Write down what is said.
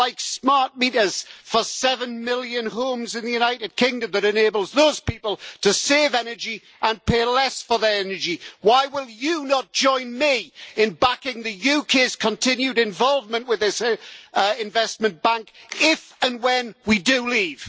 like smart meters for seven million homes in the United Kingdom, which enables those people to save energy and pay less for their energy. Why will you not join me in backing the UK's continued involvement with this investment bank, if and when we do leave?